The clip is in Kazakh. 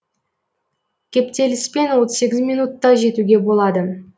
кептеліспен отыз сегіз минутта жетуге болады